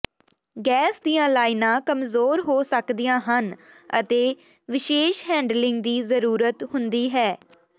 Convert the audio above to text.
gas ਦੀਆਂ ਲਾਈਨਾਂ ਕਮਜ਼ੋਰ ਹੋ ਸਕਦੀਆਂ ਹਨ ਅਤੇ ਵਿਸ਼ੇਸ਼ ਹੈਂਡਲਿੰਗ ਦੀ ਜ਼ਰੂਰਤ ਹੁੰਦੀ ਹੈ